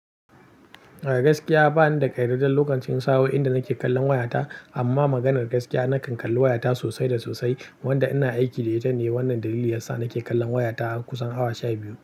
Gaskiya ba ni da ƙaidadair lokacin sawa inda nake kallon wayata, amma maganar gaskiya nakan kalli wayata sosai da sosai. Wanda ina aiki da ita ne wannan dalili ya sa nake kallon wayata an kusan awa sha biyu.